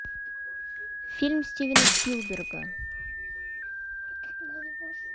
фильм стивена спилберга